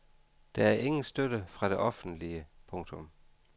Der er ingen støtte fra det offentlige. punktum